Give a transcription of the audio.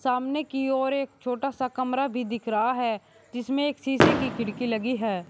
सामने की ओर एक छोटा सा कमरा भी दिख रहा है जिसमे एक शीशे की खिड़की लगी है।